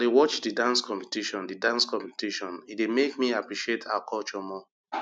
as i dey watch di dance competition di dance competition e dey make me appreciate our culture more